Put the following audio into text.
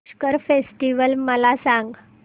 Pushkar festival मला सांग